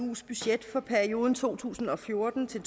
eus budget for perioden to tusind og fjorten til